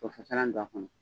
Tofasalan don a kɔnɔ.